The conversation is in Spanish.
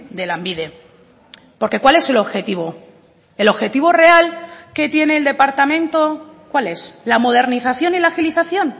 de lanbide porque cuál es el objetivo el objetivo real que tiene el departamento cuál es la modernización y la agilización